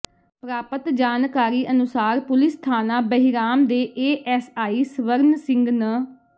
ਪ੍ਰਰਾਪਤ ਜਾਣਕਾਰੀ ਅਨੁਸਾਰ ਪੁਲਿਸ ਥਾਣਾ ਬਹਿਰਾਮ ਦੇ ਏਐੱਸਆਈ ਸਵਰਨ ਸਿੰਘ ਨ